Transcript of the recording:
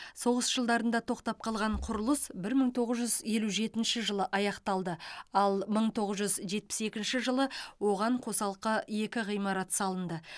соғыс жылдарында тоқтап қалған құрылыс бір мың тоғыз жүз елу жетінші жылы аяқталды ал мың тоғыз жүз жетпіс екінші жылы оған қосалқы екі ғимарат салынды